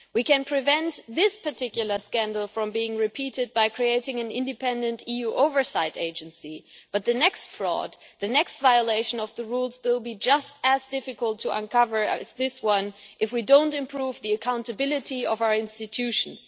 We can prevent this particular scandal from being repeated by creating an independent EU oversight agency, but the next fraud and the next violation of the rules will be just as difficult to uncover as this one if we do not improve the accountability of our institutions.